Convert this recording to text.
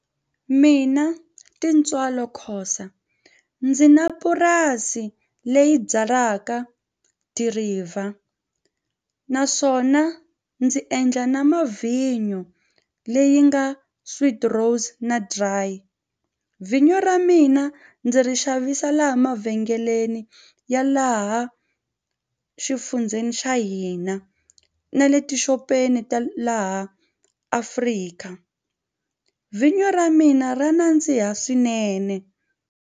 Mina Tintswalo Khosa ndzi na purasi leyi byalaka dirayivha naswona ndzi endla na mavhinyo leyi nga sweet rose na dry. Vjnyo ra mina ndzi ri xavisa laha mavhengeleni ya laha exifundzeni xa hina na le tixopeni ta laha AfriKa vhinyo ra mina ra nandziha swinene.